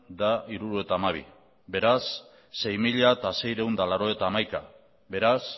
eta hirurogeita hamabi beraz sei mila seiehun eta laurogeita hamaika beraz